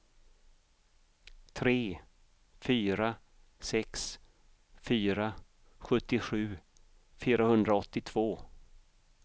tre fyra sex fyra sjuttiosju fyrahundraåttiotvå